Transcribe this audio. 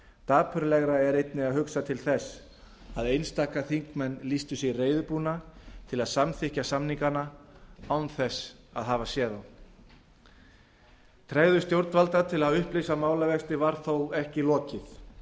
dapurlegra er einnig að hugsa til þess að einstakir þingmenn lýstu sig reiðubúna til að samþykkja samningana án þess að hafa séð þá tregðu stjórnvalda til að upplýsa málavexti var þó ekki lokið